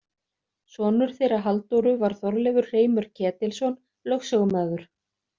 Sonur þeirra Halldóru var Þorleifur hreimur Ketilsson lögsögumaður.